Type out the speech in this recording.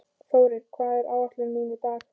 Þórinn, hvað er á áætluninni minni í dag?